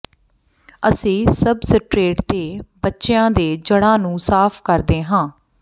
ਅਸੀਂ ਸਬਸਟਰੇਟ ਦੇ ਬਚਿਆਂ ਦੇ ਜੜ੍ਹਾਂ ਨੂੰ ਸਾਫ਼ ਕਰਦੇ ਹਾਂ